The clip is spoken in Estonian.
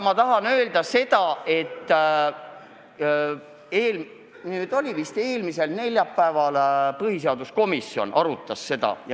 Ma tahan öelda seda, et see oli vist eelmisel neljapäeval, kui põhiseaduskomisjon arutas seda.